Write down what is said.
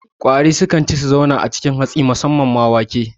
Ƙwari sukan ci su kuma zauna a cikin hatsi susamman ma wake